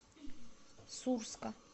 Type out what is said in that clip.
сурска